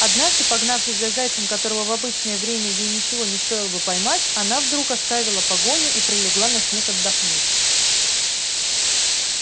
однажды погнавшись за зайцем которого в обычное время ей ничего не стоило бы поймать она вдруг оставила погоню и прилегла на снег отдохнуть